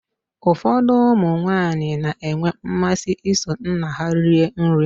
Ụfọdụ ụmụ nwaanyị na-enwe mmasị iso nna ha rie nri.